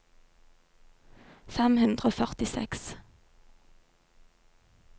fem hundre og førtiseks